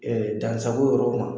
Dansago yɔrɔ kuma,